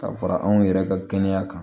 Ka fara anw yɛrɛ ka kɛnɛya kan